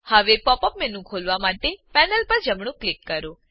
હવે pop up menu ખોલવા માટે પેનલ પર જમણું ક્લિક કરો